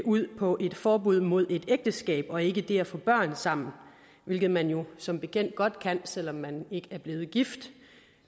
ud på et forbud mod ægteskab og ikke det at få børn sammen hvilket man jo som bekendt godt kan selv om man ikke er blevet gift